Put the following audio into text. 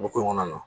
Ko ko in kɔnɔna na